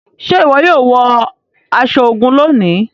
Ṣe iwọ yóò wọ aṣọ ogun lóni?